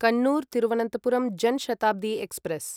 Kannur Thiruvananthapuram Jan Shatabdi express